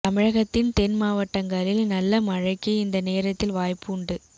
தமிழகத்தின் தென் மாவட்டங்களில் நல்ல மழைக்கு இந்த நேரத்தில் வாய்ப்பு உண்டு